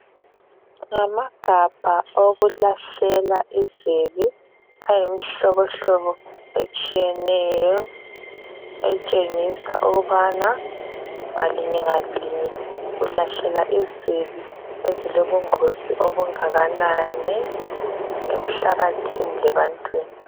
Ngamagabha okulahlela izibi ayimihlobohlobo etshiyeneyo etshengisa ukubana ngalinye ngalinye ulahlela izibi ezilobungozi obungakanani emhlabathini lebantwini.